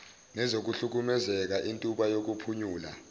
nezokuhlukumezeka intuba yokuphunyula